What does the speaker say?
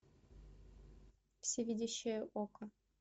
всевидящее око